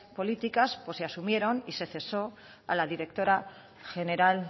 políticas o se asumieron y se cesó a la directora general